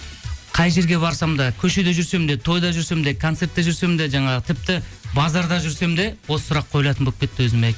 қай жерге барсам да көшеде жүрсем де тойда жүрсем де концертте жүрсем де жаңағы тіпті базарда жүрсем де осы сұрақ қойылатын болып кетті өзіме